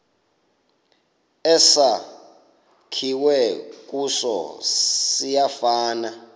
esakhiwe kuso siyafana